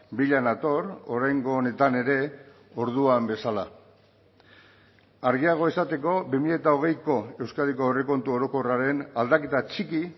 bila nator oraingo honetan ere orduan bezala argiago esateko bi mila hogeiko euskadiko aurrekontu orokorraren aldaketa txiki